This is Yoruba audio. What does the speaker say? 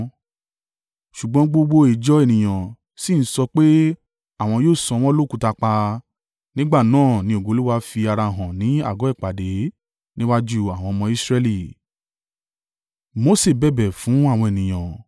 Ṣùgbọ́n gbogbo ìjọ ènìyàn sì ń sọ pé àwọn yóò sọ wọ́n lókùúta pa. Nígbà náà ni ògo Olúwa fi ara hàn ní àgọ́ ìpàdé níwájú àwọn ọmọ Israẹli.